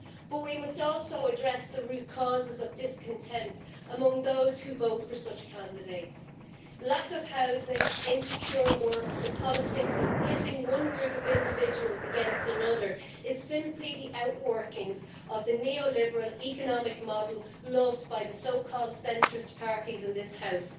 But we must also address the root causes of discontent among those who vote for such candidates. Lack of housing, insecure work, and the politics of pitting one group of individuals against another are simply the outworkings of the neoliberal economic model loved by the so called centrist' parties in this House.